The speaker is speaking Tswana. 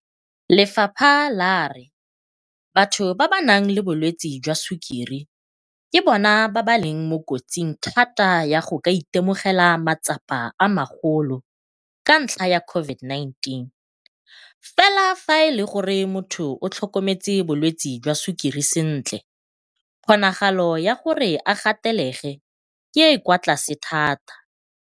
Lefapha la re batho ba ba nang le bolwetse jwa sukiri ke bona ba leng mo kotsing thata ya go ka itemogela matsapa a magolo ka ntlha ya COVID-19, fela fa e le gore motho o tlhokometse bolwetse jwa sukiri sentle kgonagalo ya gore a gatelege ke e e kwa tlase thata.